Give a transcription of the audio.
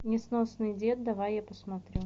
несносный дед давай я посмотрю